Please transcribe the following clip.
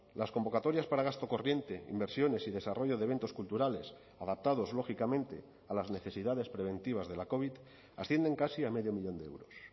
las convocatorias para gasto corriente inversiones y desarrollo de eventos culturales adaptados lógicamente a las necesidades preventivas de la covid ascienden casi a medio millón de euros